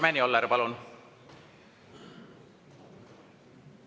Karmen Joller, palun!